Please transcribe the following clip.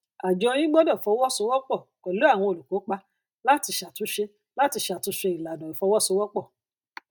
àjọ yín gbọdọ fọwọsowọpọ pẹlú àwọn olùkópa láti ṣàtúnṣe láti ṣàtúnṣe ìlànà ìfọwọsowọpọ